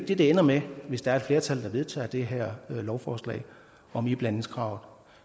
det det ender med hvis der er et flertal der vedtager det her lovforslag om iblandingskravet